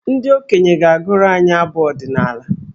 Ndị okenye ga-agụrụ anyị abụ ọdịnaala.